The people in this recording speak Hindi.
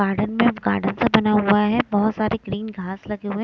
गार्डन में गार्डन सा बना हुआ है बहोत सारे ग्रीन घास लगे हुए है।